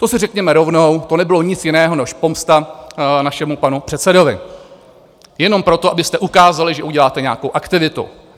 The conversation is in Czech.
To si řekněme rovnou, to nebylo nic jiného než pomsta našemu panu předsedovi, jenom proto, abyste ukázali, že uděláte nějakou aktivitu.